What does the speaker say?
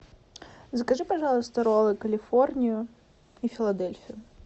закажи пожалуйста роллы калифорнию и филадельфию